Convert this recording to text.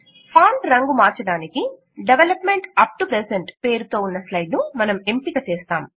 font రంగు మార్చటానికి development up to present పేరుతో ఉన్న స్లైడ్ ను మనం ఎంపిక చేస్తాం